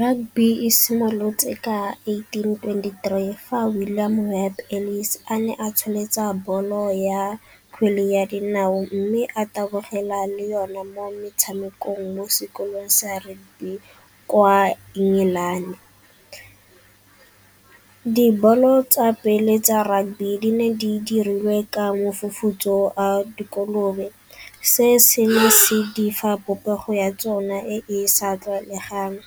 Rugby e simolotse ka eighteen twenty-three fa Williams Webb Ellis a ne a tsholetsa bolo ya kgwele ya dinao mme a tabogela le yone mo metshamekong mo sekolong sa rugby kwa England. Dibolo tsa pele tsa rugby di ne di dirilwe ka mefufutso a dikolobe, se se ne se di fa popego ya tsona e e sa tlwaelegang.